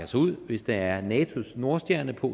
sig ud hvis der er natos nordstjerne på